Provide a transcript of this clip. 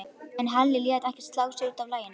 En Halli lét ekki slá sig út af laginu.